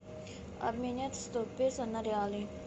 обменять сто песо на реалы